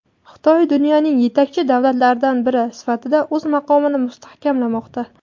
Xitoy dunyoning yetakchi davlatlaridan biri sifatida o‘z maqomini mustahkamlamoqda.